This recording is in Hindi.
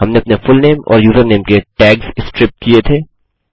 हमने अपने फुलनेम और यूजरनेम के टैग्स स्ट्रिप किये थे